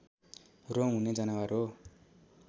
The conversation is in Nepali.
रौँ हुने जनावर हो